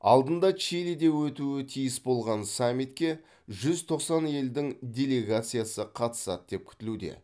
алдында чилиде өтуі тиіс болған саммитке жүз тоқсан елдің делегациясы қатысады деп күтілуде